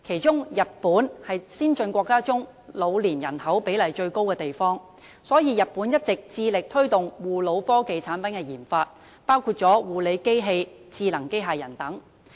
在先進國家中，日本的老年人口比例最高，所以日本一直致力推動護老科技產品的研發，包括護理機器和智能機械人等。